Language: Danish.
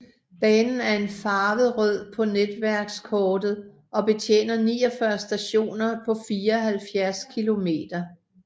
Banen er farvet rød på netværkskortet og betjener 49 stationer på 74 km